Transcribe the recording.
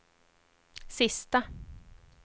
sista